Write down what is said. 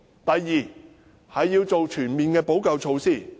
第二，要做全面的補救措施。